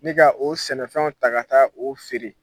Ni ka o sɛnɛfɛnw ta ka taa o feere.